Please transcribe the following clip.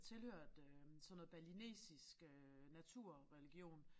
Tilhørte øh sådan noget balinesisk øh naturreligion